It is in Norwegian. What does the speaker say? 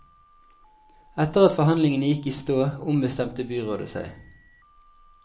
Etter at forhandlingene gikk i stå, ombestemte byrådet seg.